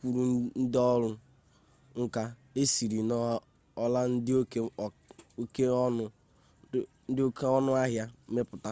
kwuru nde ọrụ nka esiri n'ọla dị oke ọnụ ahịa mepụta